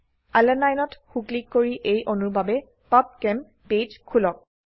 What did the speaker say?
আলানিনে ত সো ক্লিক কৰি এই অণুৰ বাবে পাবচেম পেজ খোলক